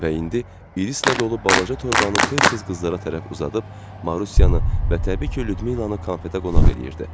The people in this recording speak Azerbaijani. Və indi irislə dolu balaca torbanı tez-tez qızlara tərəf uzadıb Marusiyanı və təbii ki, Lyudmilanı konfetə qonaq eləyirdi.